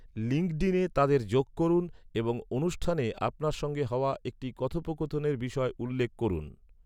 লিঙ্কডিনে তাদের যোগ করুন এবং অনুষ্ঠানে আপনার সঙ্গে হওয়া একটি কথোপকথনের বিষয় উল্লেখ করুন।